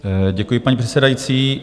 Děkuji, paní předsedající.